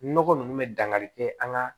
Nɔgɔ nunnu bɛ dangari kɛ an ka